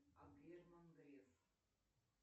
а герман греф